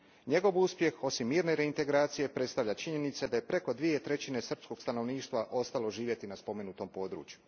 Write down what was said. Njegov uspjeh, osim mirne reintegracije, predstavlja činjenica da je preko dvije trećine srpskog stanovništva ostalo živjeti na spomenutom području.